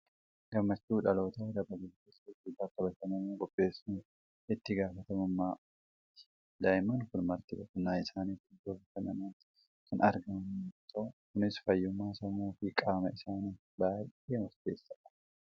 Gammachuu dhalootaa dabaluuf dirree fi bakka bashannanaa qopheessuufiin itti gaafatamummaa uummataati. Daa'imman kun marti boqonnaa isaaniif iddoo bashannanaatti kan argaman yommuu ta'u, kunis fayyummaa sammuu fi qaama isaaniif baay'ee murteessaadha!